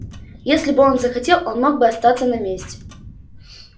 если бы он захотел он мог бы остаться на месте